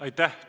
Aitäh!